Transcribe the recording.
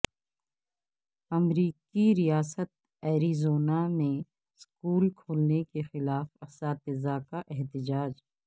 امریکی ریاست ایریزونا میں سکول کھولنے کے خلاف اساتذہ کا احتجاج